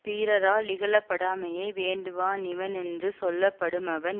பீறரா லிகழப்படாமையை வேண்டுவா னிவனென்று சொல்லப்படுமவன்